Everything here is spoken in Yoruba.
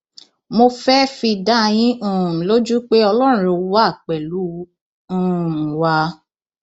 mo fẹẹ fi dá yín um lójú pé ọlọrun wà pẹlú um wa